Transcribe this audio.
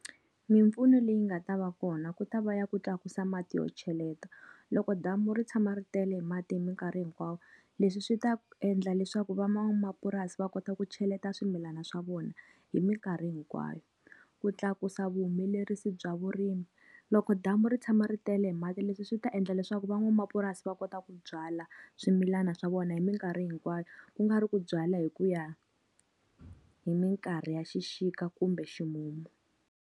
Mimpfuno leyi nga ta va kona ku ta va ya ku tlakusa mati yo cheleta. Loko damu ri tshama ri tele hi mati hi minkarhi hinkwayo, leswi swi ta endla leswaku van'wamapurasi va kota ku cheleta swimilana swa vona hi minkarhi hinkwayo. Ku tlakusa vuhumelerisi bya vurimi. Loko damu ri tshama ri tele mati leswi swi ta endla leswaku van'wamapurasi va kota ku byala swimilana swa vona hi minkarhi hinkwayo, ku nga ri ku byala hi ku ya hi minkarhi ya xixika kumbe ximumu.